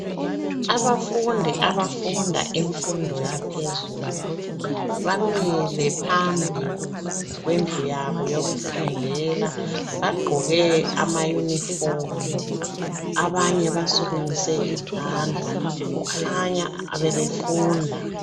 Abafundi abafunda imfundo yaphezulu bamile phambi kwendlu yabo yokufundela bagqoke amayunifomu abanye basukumise izandla kukhanya bebefunda.